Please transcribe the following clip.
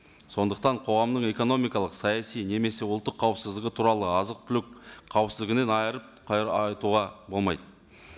сондықтан қоғамның экономикалық саяси немесе ұлттық қауіпсіздігі туралы азық түлік қауіпсіздігінен айырып айтуға болмайды